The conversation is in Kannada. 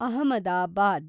ಅಹಮದಾಬಾದ್